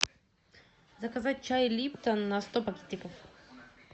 заказать чай липтон на сто пакетиков